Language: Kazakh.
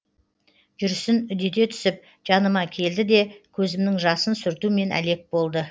жүрісін үдете түсіп жаныма келді де көзімнің жасын сүртумен әлек болды